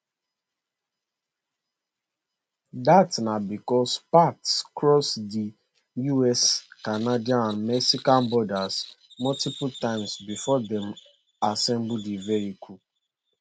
dat na becos parts cross di us canadian and mexican borders multiple times before dem assemble di vehicle